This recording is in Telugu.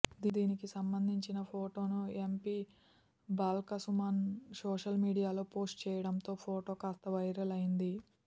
దీనికి సంబంధించిన ఫోటోను ఎంపీ బాల్క సుమన్ సోషల్ మీడియాలో పోస్ట్ చేయడంతో ఫోటో కాస్త వైరల్ అయింది